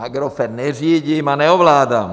Agrofert neřídím a neovládám!